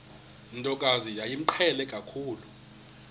ntokazi yayimqhele kakhulu